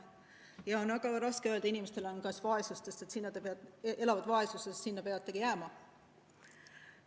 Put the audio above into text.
Ja on väga raske öelda inimestele, kes elavad vaesuses, et sinna te peategi jääma.